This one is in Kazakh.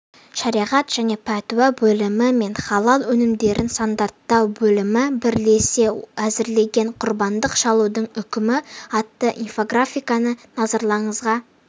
шариғат және пәтуа бөлімі мен халал өнімдерін стандарттау бөлімі бірлесе әзірлеген құрбандық шалудың үкімі атты инфографиканыназарларыңызға